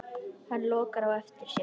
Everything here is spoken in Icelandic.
Hann lokar á eftir sér.